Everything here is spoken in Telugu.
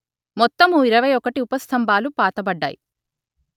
మొత్తము ఇరవై ఒకటి ఊపస్థంభాలు పాతబడ్డాయి